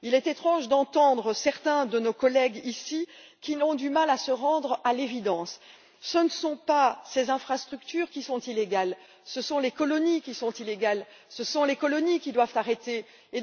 Il est étrange d'entendre certains de nos collègues, ici, qui ont du mal à se rendre à l'évidence ce ne sont pas ces infrastructures qui sont illégales, ce sont les colonies qui sont illégales et auxquelles il doit être mis fin.